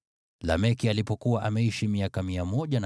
Lameki alipokuwa ameishi miaka 182, alimzaa mwana.